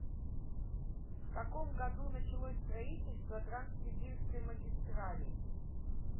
в каком году началось строительство транссибирской магистрали